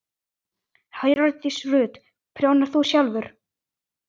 Hjördís Rut: Prjónar þú sjálfur?